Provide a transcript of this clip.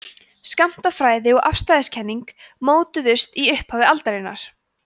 skammtafræði og afstæðiskenning mótuðust í upphafi aldarinnar